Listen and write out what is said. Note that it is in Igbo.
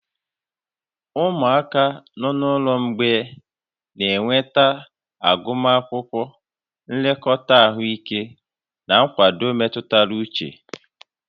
Ụmụaka nọ n'ụlọ mgbei na-enweta agụmakwụkwọ, nlekọta ahụike, na nkwado mmetụta uche